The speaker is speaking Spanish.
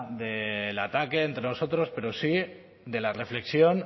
del ataque entre nosotros pero sí de la reflexión